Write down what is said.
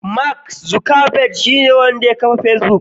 Mark zukerberg shine wanda ya kafa fesbuk.